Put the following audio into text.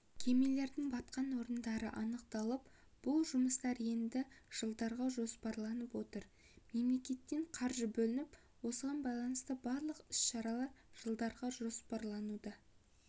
кемелердің батқан орындары анықталып бұл жұмыстар енді жылдарға жоспарланып отыр мемлекеттен қаржы бөлініп осыған байланысты барлық іс-шаралар жылдарға жоспарлануда